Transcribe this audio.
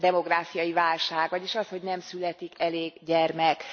demográfiai válság, vagyis az, hogy nem születik elég gyermek.